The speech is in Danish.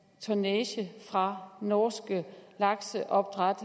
tonnage fra norske lakseopdræt